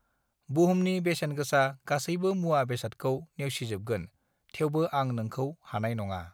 बुहुमनि बेसेन गोसा गासैबो मुवा बेसादखौ नेवसिजोबगोन थेवबो आं नोंखौ हानाय नङा